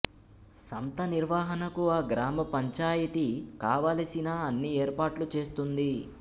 సంత నిర్వహణకు ఆ గ్రామ పంచాయితీ కావలసిన అన్ని ఏర్పాట్లు చేస్తుంది